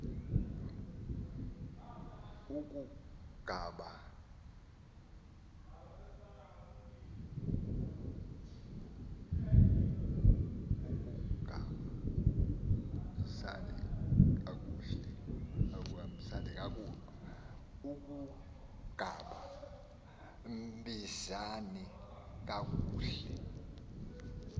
akungaba mbisani kakuhle